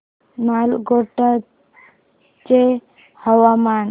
नालगोंडा चे हवामान